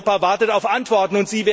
Europa wartet auf Antworten.